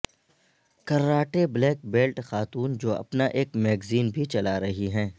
karate black belt خاتون جو اپنا ایک میگزین بھی چلا رہی ہیں